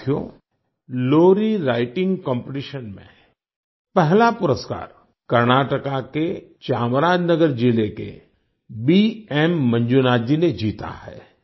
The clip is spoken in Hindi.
साथियो लोरी राइटिंग कॉम्पिटिशन में पहला पुरस्कार कर्नाटक के चामराजनगर जिले के बीएम मंजूनाथ जी ने जीता है